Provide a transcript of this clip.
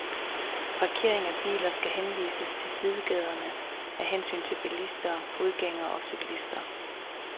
Parkering af biler skal henvises til sidegaderne af hensyn til bilister, fodgængere og cyklister.